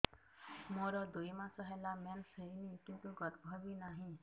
ମୋର ଦୁଇ ମାସ ହେଲା ମେନ୍ସ ହେଇନି କିନ୍ତୁ ଗର୍ଭ ବି ନାହିଁ